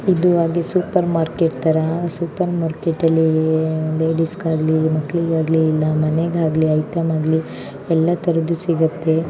ಇದು ಆಗಿ super market ತರ ಸೂಪರ್ ಮಾರ್ಕೆಟ್ ಅಲ್ಲಿ ಲೇಡೀಸ್ ಗಾಗಲಿ ಮಕ್ಕಳಿಗಾಗಲಿ ಮನೆಗಾಗಲಿ ಐಟಂ ಆಗ್ಲಿ ಎಲ್ಲಾತರದ ಸಿಗುತ್ತೆ.